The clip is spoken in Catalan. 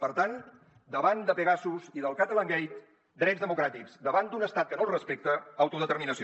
per tant davant de pegasus i del catalangate drets democràtics davant d’un estat que no els respecta autodeterminació